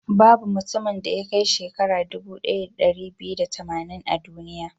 Babu mutumin da ya kai shekara dubu ɗaya da ɗari biyu da tamanin a duniya.